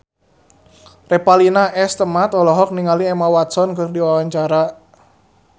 Revalina S. Temat olohok ningali Emma Watson keur diwawancara